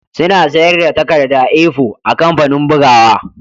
Suna sayar da takarda A4 a kamfanin bugawa